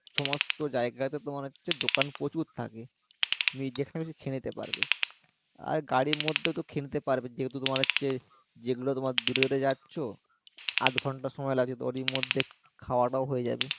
সমস্ত জায়গা তে তোমার হচ্ছে দোকান প্রচুর থাকে তুমি যেখানে খেয়ে নিতে পারবে আর গাড়ির মধ্যে তো খেয়ে নিতে পারবে যেহেতু তোমার হচ্ছে যেগুলো তোমার দূরে দূরে যাচ্ছো আধ ঘন্টা সময় লাগছে তো ওরই মধ্যে খাওয়াটাও হয়ে যাবে